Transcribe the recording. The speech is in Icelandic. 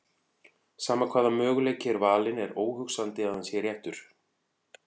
Sama hvaða möguleiki er valinn er óhugsandi að hann sé réttur.